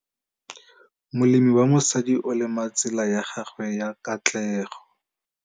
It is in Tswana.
Molemi wa mosadi o lema tsela ya gagwe ya katlego.